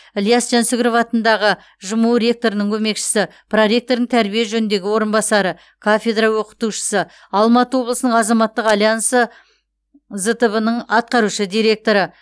іляс жансүгіров атындағы жму ректорының көмекшісі проректорының тәрбие жөніндегі орынбасары кафедра оқытушысы алматы облысының азаматтық альянсы зтб ның атқарушы директоры